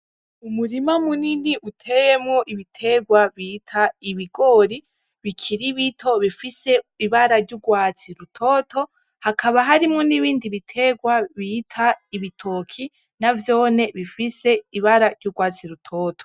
Umurima munini uteyemwo ibiterwa bita ibigori bikiri bito bifise ibara ry'urwatsi rutoto hakaba harimwo n'ibindi biterwa bita ibitoki navyone bifise ibara ry'urwatsi rutoto